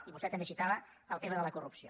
i vostè també citava el tema de la corrupció